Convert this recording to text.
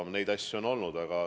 Niisuguseid asju on olnud.